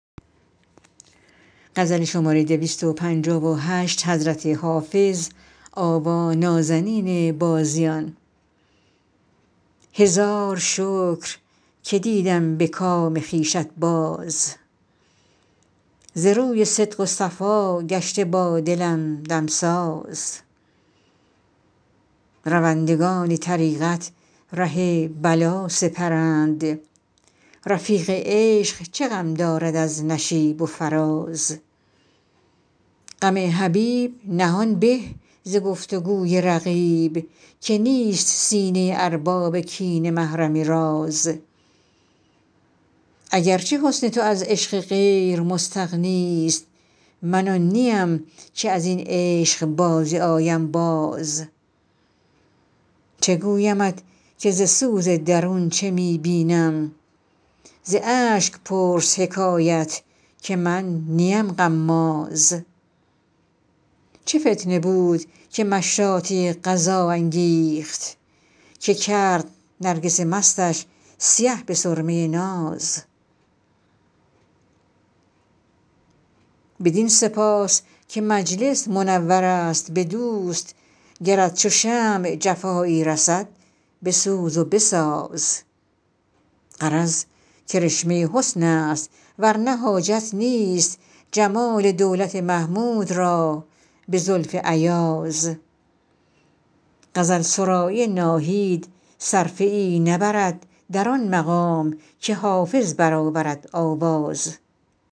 هزار شکر که دیدم به کام خویشت باز ز روی صدق و صفا گشته با دلم دمساز روندگان طریقت ره بلا سپرند رفیق عشق چه غم دارد از نشیب و فراز غم حبیب نهان به ز گفت و گوی رقیب که نیست سینه ارباب کینه محرم راز اگر چه حسن تو از عشق غیر مستغنی ست من آن نیم که از این عشق بازی آیم باز چه گویمت که ز سوز درون چه می بینم ز اشک پرس حکایت که من نیم غماز چه فتنه بود که مشاطه قضا انگیخت که کرد نرگس مستش سیه به سرمه ناز بدین سپاس که مجلس منور است به دوست گرت چو شمع جفایی رسد بسوز و بساز غرض کرشمه حسن است ور نه حاجت نیست جمال دولت محمود را به زلف ایاز غزل سرایی ناهید صرفه ای نبرد در آن مقام که حافظ برآورد آواز